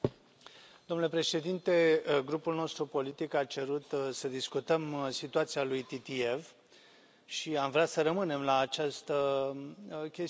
Domnule președinte, grupul nostru politic a cerut să discutăm situația lui Titiev și am vrea să rămânem la această chestiune.